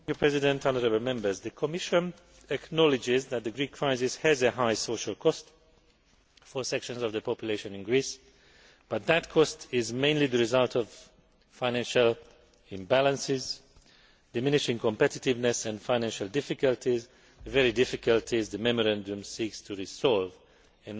The Commission acknowledges that the Greek crisis has a high social cost for sections of the population in Greece, but that cost is mainly the result of financial imbalances, diminishing competitiveness and financial difficulties the very difficulties the Memorandum seeks to resolve and not exacerbate.